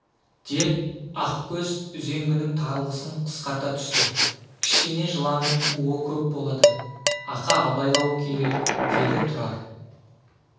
деп ақкөз үзенгінің таралғысын қысқарта түсті кішкене жыланның уы көп болады ақа абайлау керек деді тұрар